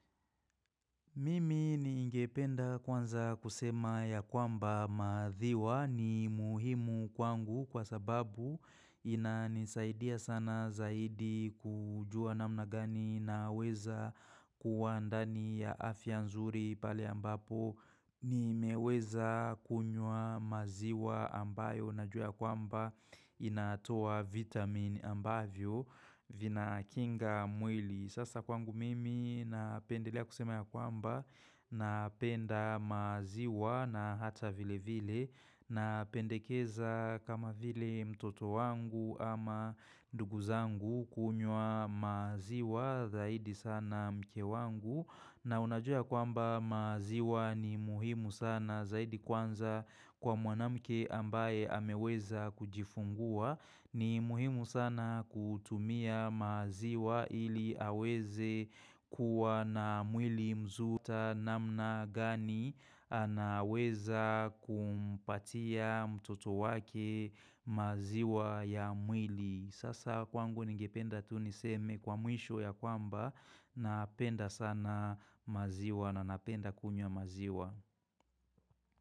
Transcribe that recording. Mimi ni ingependa kwanza kusema ya kwamba madhiwa ni muhimu kwangu kwa sababu ina nisaidia sana zaidi kujua na mnagani na weza kuwa andani ya afia nzuri pale ambapo. Ni meweza kunywa maziwa ambayo na jua kwamba inatoa vitamin ambavyo vina kinga mwili. Sasa kwangu mimi napendelea kusema ya kwamba napenda maziwa na hata vile vile napendekeza kama vile mtoto wangu ama nduguzangu kunywa maziwa zaidi sana mke wangu. Na unajua kwamba maziwa ni muhimu sana zaidi kwanza kwa mwanamke ambaye ameweza kujifungua ni muhimu sana kutumia maziwa ili aweze. Kuwa na mwili mzuta namna gani anaweza kumpatia mtoto wake. Maziwa ya mwili Sasa kwangu ningipenda tuniseme kwa muisho ya kwamba na penda sana maziwa na napenda kunywa maziwa.